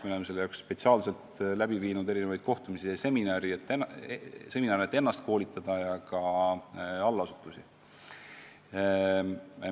Me oleme selle jaoks spetsiaalselt korraldanud erinevaid kohtumisi ja seminare, et ennast ja allasutuste töötajaid koolitada.